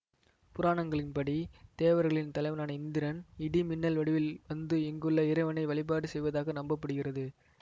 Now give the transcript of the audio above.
புராணங்களின் படி தேவர்களின் தலைவனான இந்திரன் இடி மின்னல் வடிவில் வந்து இங்குள்ள இறைவனை வழிபாடு செய்வதாக நம்ப படுகிறது